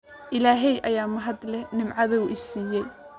Illahay ayaa mahad leh nimcada uu siiyay